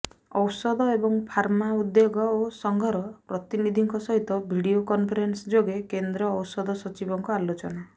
ଔଷଧ ଏବଂ ଫାର୍ମା ଉଦ୍ୟୋଗ ଓ ସଂଘର ପ୍ରତିନିଧିଙ୍କ ସହିତ ଭିଡିଓ କନଫରେନ୍ସ ଯୋଗେ କେନ୍ଦ୍ର ଔଷଧ ସଚିବଙ୍କ ଆଲୋଚନା